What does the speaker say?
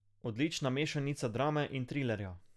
Odlična mešanica drame in trilerja.